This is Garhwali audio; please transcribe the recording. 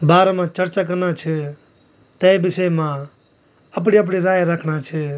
बारा मा चर्चा करना छ तै विषय मा अपड़ी अपड़ी राय रखणा छ।